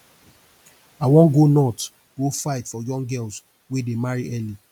i wan go north go fight for young girls wey dey marry early